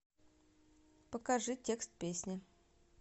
покажи текст песни